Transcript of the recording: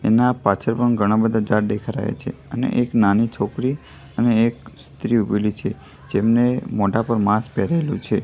એના પાછળ પણ ઘણા બધા ઝાડ દેખાય રહ્યા છે અને એક નાની છોકરી અને એક સ્ત્રી ઉભેલી છે જેમને મોઢા પર માસ્ક પહેરેલું છે.